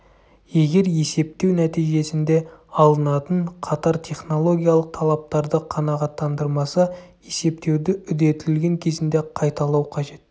егер есептеу нәтижесінде алынатын қатар технологиялық талаптарды қанағаттандырмаса есептеуді үдетілген кезінде қайталау қажет